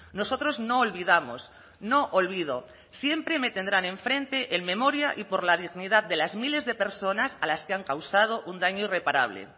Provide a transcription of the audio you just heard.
nosotros no olvidamos no olvido siempre me tendrán enfrente en memoria y por la dignidad de las miles de personas a las que han causado un daño irreparable